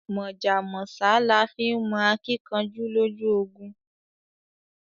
Mọ̀jà mọ̀sá là fi nmọ akíkanjú lójú ogun